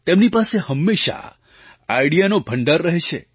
તેમની પાસે હંમેશાં આઇડિયાનો ભંડાર રહે છે